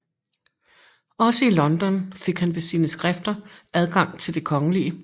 Også i London fik han ved sine skrifter adgang til det kgl